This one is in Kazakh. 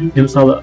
мен мысалы